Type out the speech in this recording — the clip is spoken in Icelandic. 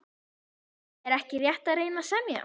Er ekki rétt að reyna að semja?